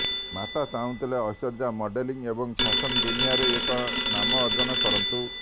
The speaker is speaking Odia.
ମାତା ଚାହୁଁଥିଲେ ଐଶ୍ୱର୍ଯ୍ୟା ମଡେଲିଂ ଏବଂ ଫ୍ୟାଶନ ଦୁନିଆରେ ଏକ ନାମ ଅର୍ଜନ କରନ୍ତୁ